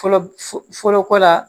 Fɔlɔ fɔlɔ ko la